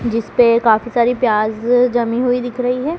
जिसपे काफी सारी प्याज जमी हुई दिख रही है।